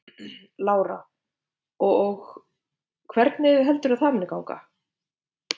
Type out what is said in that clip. Lára: Og og hvernig heldurðu að það muni ganga?